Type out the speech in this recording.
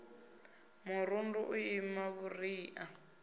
murundu u ima vhuria hu